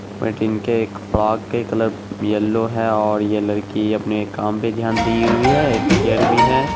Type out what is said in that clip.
Frock के colour yellow है ओर ये लड़की अपने काम पे ध्यान पे दी हुई है। एक चेयर भी है।